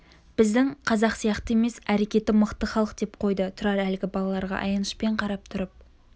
біздің қазақ сияқты емес әрекеті мықты халық деп қойды тұрар әлгі балаларға аянышпен қарап тұрып